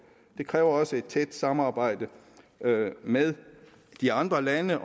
det kræver også et tæt samarbejde med de andre lande